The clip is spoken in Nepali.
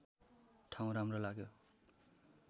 ठाउँ राम्रो लाग्यो